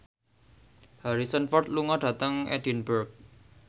Harrison Ford lunga dhateng Edinburgh